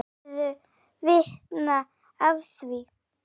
Hefurðu vitni að því?